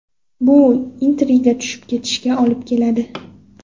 Bu intriga tushib ketishiga olib keladi.